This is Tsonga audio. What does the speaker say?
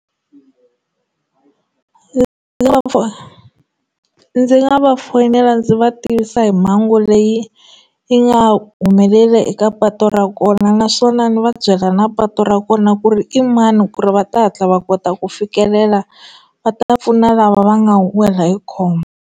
ndzi nga va fonela ndzi va tivisa hi mhangu leyi yi nga humeleli eka patu ra kona naswona ni va byela na patu ra kona ku ri i mani ku ri va ta hatla va kota ku fikelela va ta ya pfuna lava va nga wela hi khombo.